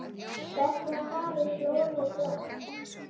Hvert var farið blómið blátt?